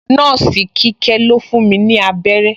Nọ́ọ̀sì Kíkẹ́ ló fún mi abẹ́rẹ́